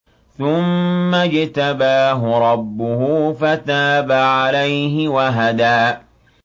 ثُمَّ اجْتَبَاهُ رَبُّهُ فَتَابَ عَلَيْهِ وَهَدَىٰ